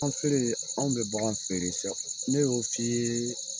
Bagan feere, anw bɛ bagan feere sa ne y'o f'i ye